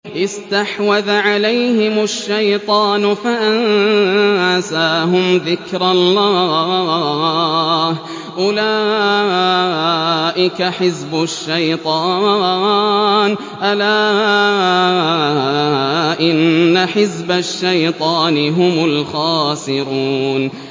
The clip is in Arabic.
اسْتَحْوَذَ عَلَيْهِمُ الشَّيْطَانُ فَأَنسَاهُمْ ذِكْرَ اللَّهِ ۚ أُولَٰئِكَ حِزْبُ الشَّيْطَانِ ۚ أَلَا إِنَّ حِزْبَ الشَّيْطَانِ هُمُ الْخَاسِرُونَ